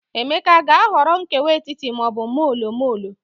Emeka aga-ahọrọ nkewa etiti ma ọ bụ molo molo?